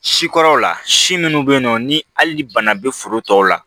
Sikɔrɔw la si minnu bɛ yen nɔ ni hali ni bana bɛ foro tɔw la